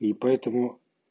и поэтому